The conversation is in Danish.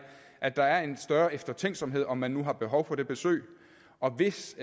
at der er en større eftertænksomhed om man nu har behov for det besøg og hvis